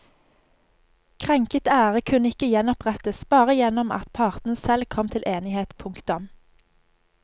Krenket ære kunne ikke gjenopprettes bare gjennom at partene selv kom til enighet. punktum